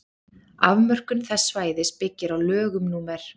afmörkun þess svæðis byggir á lögum númer